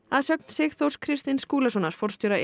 að sögn Sigþórs Kristins Skúlasonar forstjóra